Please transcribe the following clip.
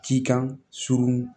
Cikan surun